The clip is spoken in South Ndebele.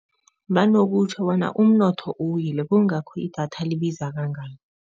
Banokutjho bona umnotho uwile kungakho idatha libiza kangaka.